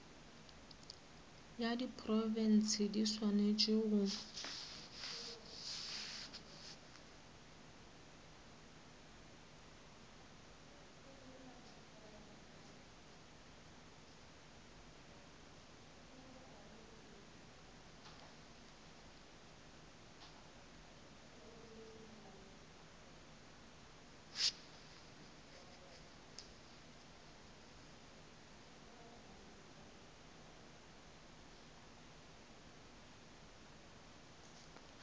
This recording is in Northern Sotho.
ya diprofense di swanetše go